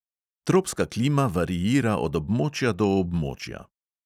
Tropska klima variira od območja do območja.